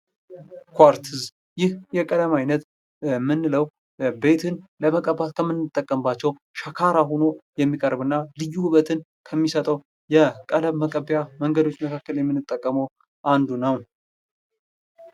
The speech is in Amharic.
ኩዋርትዝ ይህ የቀለም አይነት የምንለው ቤትን ለመቀባት ከምንጠቀምባቸው ሸካራ ሆኖ የሚቀረው ልዩ ውበት ከሚሰጠው የቀለም መቀቢያ መንገዶች መካከል የምጠቀመው አንዱ ነው።